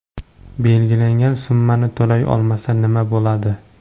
Belgilangan summani to‘lay olmasa, nima bo‘ladi?